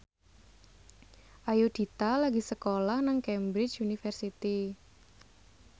Ayudhita lagi sekolah nang Cambridge University